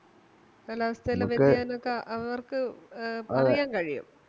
ചെല വ്യതിയാനൊക്കെ അവർക്ക് കഴിയും